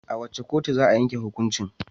A wace kotu za a yanke hukuncin?